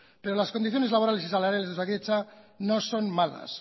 pero las condiciones laborales y salariales de osakidetza no son malas